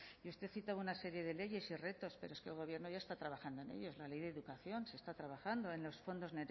y usted cita una serie de leyes y retos pero es que el gobierno ya está trabajando en ello en la ley de educación se está trabajando en los fondos